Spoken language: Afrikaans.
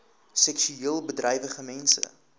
seksueel bedrywige mense